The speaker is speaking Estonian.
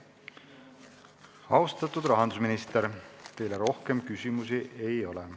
Austatud rahandusminister, teile rohkem küsimusi ei ole.